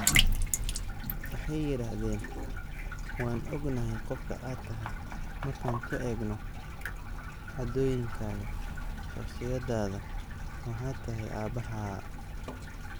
Waxay yiraahdeen: 'Waan ognahay qofka aad tahay markaan ku eegno, caadooyinkaaga, shakhsiyadaada, waxaad tahay aabbahaa."